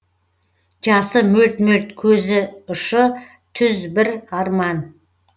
жасы мөлт мөлт көз ұшы түз бір арман